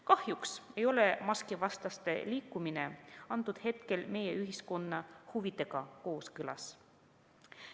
Kahjuks ei ole maskivastaste liikumine hetkel meie ühiskonna huvidega kooskõlas.